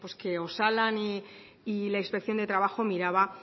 que osalan y la inspección de trabajo miraba